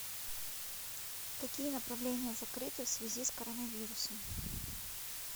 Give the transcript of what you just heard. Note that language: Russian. какие направления закрыты в связи с коронавирусом